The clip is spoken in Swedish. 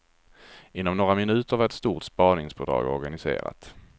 Inom några minuter var ett stort spaningspådrag organiserat.